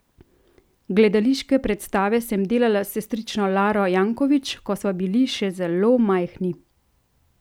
Gledališke predstave sem delala s sestrično Laro Jankovič, ko sva bili še zelo majhni.